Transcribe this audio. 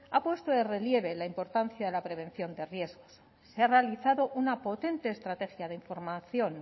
ha puesto de relieve la importancia de la prevención de riesgos se ha realizado una potente estrategia de información